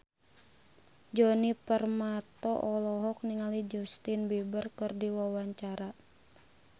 Djoni Permato olohok ningali Justin Beiber keur diwawancara